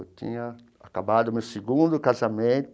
Eu tinha acabado o meu segundo